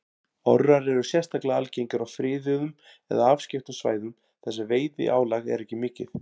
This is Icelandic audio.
Orrar eru sérstaklega algengir á friðuðum eða afskekktum svæðum þar sem veiðiálag er ekki mikið.